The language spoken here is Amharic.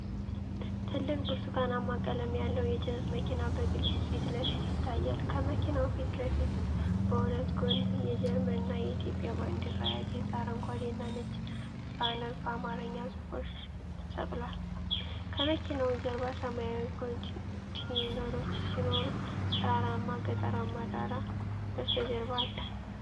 ትልቅ ብርቱካናማ ቀለም ያለው የጭነት መኪና በግልጽ ፊት ለፊት ይታያል። ከመኪናው ፊት ለፊት በሁለት ጎን የጀርመንና የኢትዮጵያ ባንዲራ ያጌጠ አረንጓዴና ነጭ ባነር በአማርኛ ጽሑፎች ተሰቅሏል። ከመኪናው ጀርባ ሰማያዊ ኮንቴይነሮች ሲኖሩ፣ ተራራማ ገጠራማ ዳራ በስተጀርባ አለ።